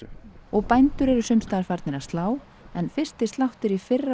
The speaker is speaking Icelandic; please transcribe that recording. bændur eru sums staðar farnir að slá en fyrsti sláttur í fyrra